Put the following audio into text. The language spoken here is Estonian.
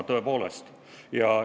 Tõepoolest!